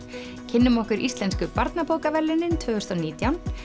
kynnum okkur Íslensku barnabókaverðlaunin tvö þúsund og nítján